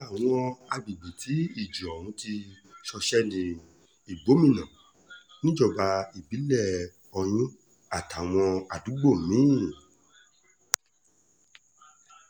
lára àwọn agbègbè tí ìjì òhun ti ṣọṣẹ́ ní igbómìnà níjọba ìbílẹ̀ oyún àtàwọn àdúgbò mi-ín